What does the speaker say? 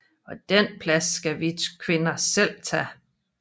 Og den plads skal vi kvinder selv tage